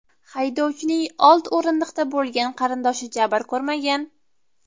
Haydovchining old o‘rindiqda bo‘lgan qarindoshi jabr ko‘rmagan.